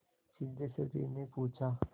सिद्धेश्वरीने पूछा